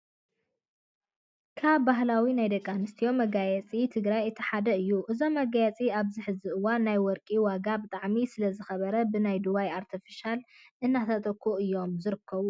ካብ ባህላዊ ናይ ደቂ ኣንስትዮ መጋየፅታት ትግራይ እቲ ሓደ እዩ። እዞም መጋየፅታት ኣብዚ ሕዚ እዋን ናይ ወርቂ ዋጋ ብጣዕሚ ስለዝኸበረ ብናይ ዱባይ ኣርተፍሻል እናተተክኡ እዩም ዝረከቡ።